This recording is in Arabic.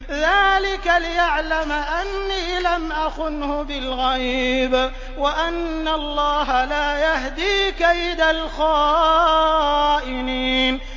ذَٰلِكَ لِيَعْلَمَ أَنِّي لَمْ أَخُنْهُ بِالْغَيْبِ وَأَنَّ اللَّهَ لَا يَهْدِي كَيْدَ الْخَائِنِينَ